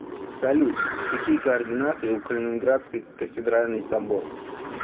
салют какие координаты у калининградский кафедральный собор